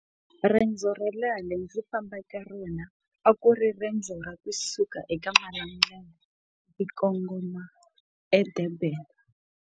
Riendzo ro leha leri ndzi fambaka rona a ku ri riendzo ra kusuka eka malembe ndzi kongoma edurban.